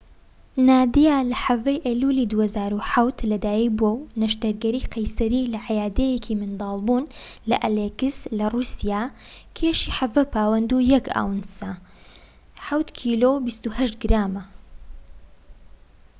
نادیا لە ١٧ ی ئەیلولی ٢٠٠٧ لەدایك بووە بە نەشتەرگەری قەیسەری لە عەیادەیەکی مندڵبوون لە ئەلیسک لە رووسیا، کێشی ١٧ پاوەند و ١ ئاونسە [٧ کیلۆ و ٢٨ گرام]